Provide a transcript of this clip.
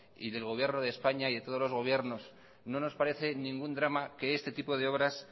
y del gobierno de españa y de todos los gobiernos no nos parece ningún drama que este tipo de obras